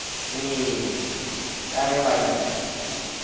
ee ka ge ba di